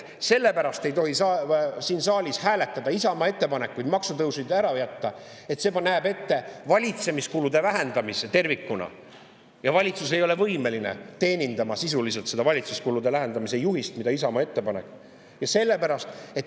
Et ei tohi siin saalis hääletada Isamaa ettepanekuid maksutõusud ära jätta, sellepärast et need näevad ette tervikuna valitsemiskulude vähendamise ja valitsus ei ole võimeline sisuliselt seda valitsemiskulude vähendamise juhist, mille Isamaa ette paneb.